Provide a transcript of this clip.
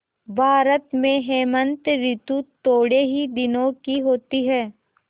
भारत में हेमंत ॠतु थोड़े ही दिनों की होती है